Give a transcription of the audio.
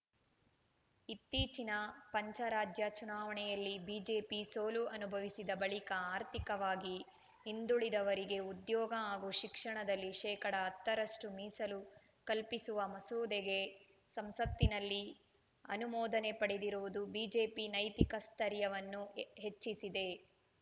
ಇತ್ತೀಚಿನ ಪಂಚರಾಜ್ಯ ಚುನಾವಣೆಯಲ್ಲಿ ಬಿಜೆಪಿ ಸೋಲು ಅನುಭವಿಸಿದ ಬಳಿಕ ಆರ್ಥಿಕವಾಗಿ ಹಿಂದುಳಿದವರಿಗೆ ಉದ್ಯೋಗ ಹಾಗೂ ಶಿಕ್ಷಣದಲ್ಲಿ ಶೇಕಡಾ ಹತ್ತರಷ್ಟುಮೀಸಲು ಕಲ್ಪಿಸುವ ಮಸೂದೆಗೆ ಸಂಸತ್ತಿನಲ್ಲಿ ಅನುಮೋದನೆ ಪಡೆದಿರುವುದು ಬಿಜೆಪಿ ನೈತಿಕ ಸ್ಥೈರ್ಯವನ್ನು ಹೆಹೆಚ್ಚಿಸಿದೆ